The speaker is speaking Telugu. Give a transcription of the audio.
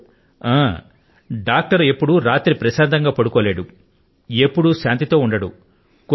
ఒక డాక్టరు ఒక్కొక్క సారి రాత్రి పూట ప్రశాంతం గా నిదురించనైనే లేరు